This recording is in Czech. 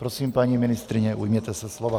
Prosím, paní ministryně, ujměte se slova.